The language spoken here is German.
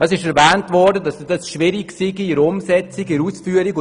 Es wurde erwähnt, dass die Umsetzung respektive die Ausführung schwierig seien.